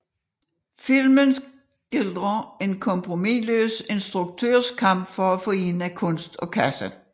Filmen skildrer en kompromisløs instruktørs kamp for at forene kunst og kasse